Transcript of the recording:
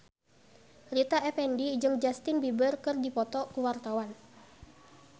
Rita Effendy jeung Justin Beiber keur dipoto ku wartawan